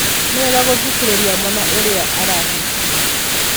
Ni wega guthikirirĩa mwana urĩa arahihia